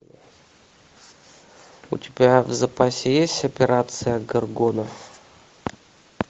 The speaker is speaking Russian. у тебя в запасе есть операция горгона